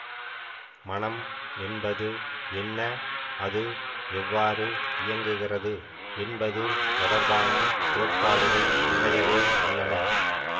மனம் என்பது என்ன அது எவ்வாறு இயங்குகிறது என்பது தொடர்பான கோட்பாடுகள் நிறையவே உள்ளன